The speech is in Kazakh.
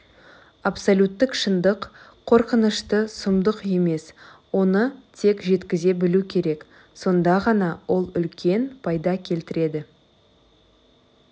абсолюттік шындық қорқынышты сұмдық емес оны тек жеткізе білу керек сонда ғана ол үлкен пайда келтіреді